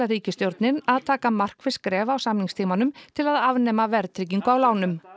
ríkisstjórnin að taka markviss skref á samningstímanum til að afnema verðtryggingu á lánum